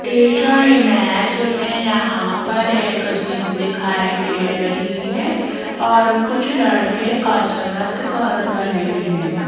इस इमेज में यहां पर एक जिम दिखाई दे रही है और कुछ लड़के कसरत कर रहे हैं।